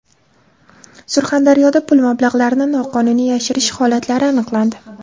Surxondaryoda pul mablag‘larini noqonuniy yashirish holatlari aniqlandi.